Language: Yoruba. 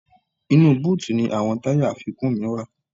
Inú búùtì ni àwọn táyà àfikún mi wà